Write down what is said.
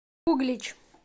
углич